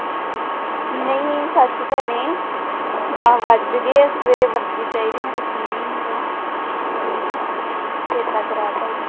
ਨਹੀਂ ਸੱਚ ਭੈਣੇ, ਦਸ ਵੱਜ ਗਏ ਆ, ਸਵੇਰੇ ਵਰਦੀ ਚਾਹੀਦੀ ਮੈਂ ਹਾਂ ਚੇਤਾ ਕਰਾ ਦਿੱਤਾ ਈ।